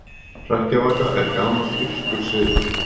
Hrekkjavaka er gamall írskur siður.